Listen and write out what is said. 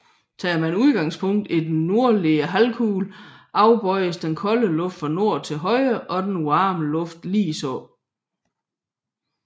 Tager man udgangspunkt i den nordlige halvkugle afbøjes den kolde luft fra nord til højre og den varme luft ligeså